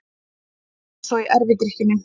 Eins og í erfidrykkjunni.